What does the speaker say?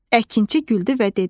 Əkinçi güldü və dedi: